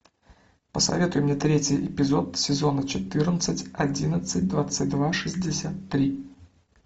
посоветуй мне третий эпизод сезона четырнадцать одиннадцать двадцать два шестьдесят три